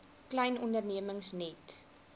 klein ondernemings net